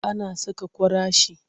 Ana saƙa kwarashi.